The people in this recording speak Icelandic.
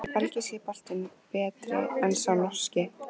Er Belgíski boltinn betri en sá Norski?